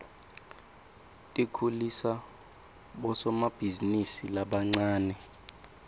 tikhulisa bosomabhizinisi labancane